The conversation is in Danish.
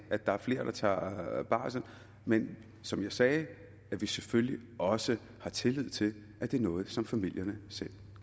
at der er flere der tager barsel men som jeg sagde har vi selvfølgelig også tillid til at det er noget som familierne selv